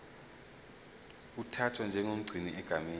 uthathwa njengomgcini egameni